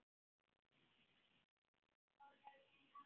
Svo fór hann inn aftur.